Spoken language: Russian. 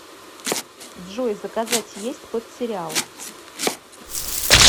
джой заказать есть под сериал